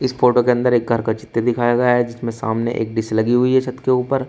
इस फोटो के अंदर एक घर का चित्र दिखाया गया है जिसमें सामने एक डिश लगी हुई है छत के ऊपर।